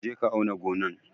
Je ka auna gonan!